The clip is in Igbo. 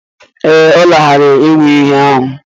Ee, ọ lanarịrị iyi ahụ.